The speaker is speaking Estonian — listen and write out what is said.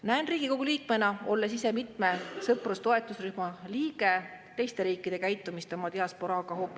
Näen Riigikogu liikmena, olles ise mitme sõprus‑ või rühma liige, kuidas teised riigid käituvad oma diasporaaga.